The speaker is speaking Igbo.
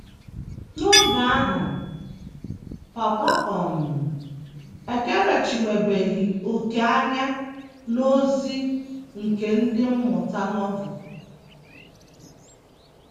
N’oge ahụ, papa um m ekerechiwebeghị òkè anya n’ozi nke Ndị Mmụta Novel.